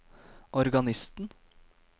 organisten